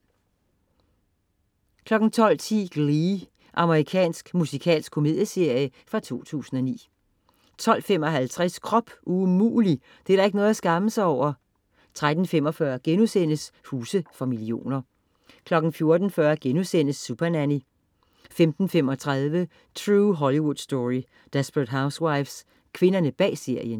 12.10 Glee. Amerikansk musikalsk komedieserie fra 2009 12.55 Krop umulig! Det er da ikke noget at skamme sig over 13.45 Huse for millioner* 14.40 Supernanny* 15.35 True Hollywood Story. Desperate Housewives. Kvinderne bag serien